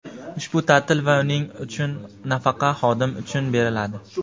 ushbu taʼtil va uning uchun nafaqa xodim uchun beriladi.